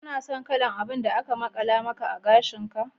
Kana son kalan abin da aka makala maka a gashin ka?